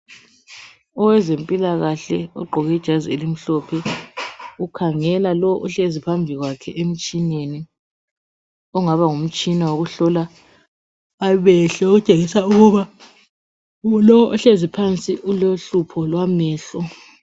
Owezempilakahle ogqqoke ijazi elimhlophe ukhangela lo ohlezi phambi kwakhe emtshineni ongaba ngumtshina wokuhlola amehlo okutshengisa ukuba lo ohlezi phansi ulohlupho lwamehlo.